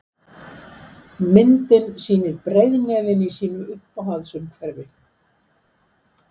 Myndin sýnir breiðnefinn í sínu uppáhalds umhverfi.